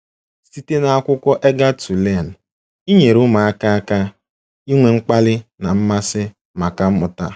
Site n'akwụkwọ Eager to Learn - Inyere ụmụaka aka inwe mkpali na mmasị maka mmụta